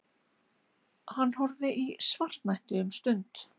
Hann horfði í svartnætti um stund.